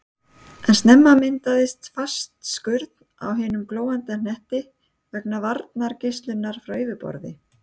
En snemma myndaðist fast skurn á hinum glóandi hnetti vegna varmageislunar frá yfirborði.